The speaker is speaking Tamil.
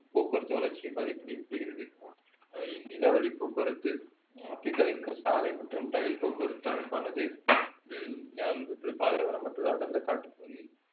போக்குவரத்து வளர்ச்சியை பாதிப்படைய செய்கிறது அஹ் நிலவழி போக்குவரத்து ஆப்ரிக்காவின் சாலை மற்றும் ரயில் போக்குவரத்து அமைப்பானது உம் ஹம் பாலைவனம் மற்றும் அடர்ந்த காட்டுப் பகுதியில்